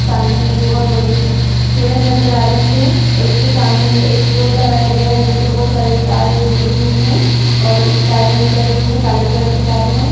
सामने में एक बहुत बड़ी पेड़ नजर आ रही है और उसके सामने में एक पोल लगाया गया है जिससे बहुत सारे तारें जुड़ी हुई हैं और तारें निकल रही हैं काले कलर की तारें हैं।